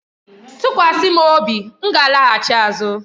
Tụkwasị m obi, m ga-alaghachi azụ.